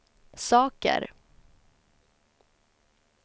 saker